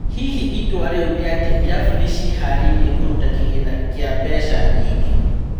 Hihi itua rĩo nĩ-atĩ irabu nĩciĩharĩirie kũruta kĩgina kĩa mbeca nyingĩ?